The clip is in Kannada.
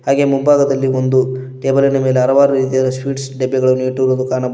ಹಾಗೆ ಮುಂಭಾಗದಲ್ಲಿ ಒಂದು ಟೇಬಲ್ ಇನ ಮೇಲೆ ಹಲವಾರು ರೀತಿಯಾದ ಸ್ವೀಟ್ಸ್ ಡಬ್ಬಿಗಳನ್ನು ಇಟ್ಟಿರುವುದು ಕಾಣಬ --